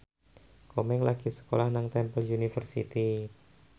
Komeng lagi sekolah nang Temple University